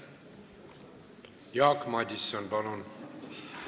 Jaak Madison, palun!